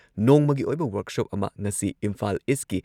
ꯅꯣꯡꯃꯒꯤ ꯑꯣꯏꯕ ꯋꯔꯛꯁꯣꯞ ꯑꯃ ꯉꯁꯤ ꯏꯝꯐꯥꯜ ꯏꯁꯀꯤ